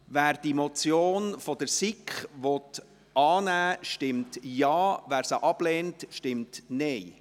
Wer diese Motion der SiK annehmen will, stimmt Ja, wer diese ablehnt, stimmt Nein.